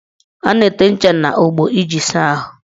A na-ete ncha n' ogbo iji saa ahụ.